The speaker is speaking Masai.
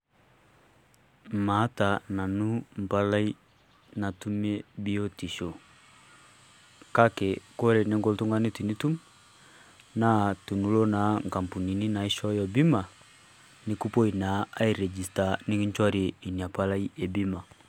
Maata nanu mpalai natumie biotisho, kake kore ninko oltung'ani tinitum, naa tinilo naa nkampunini naishooyo bima, nikupuoi naa airejista nikinchori ina palai e bima.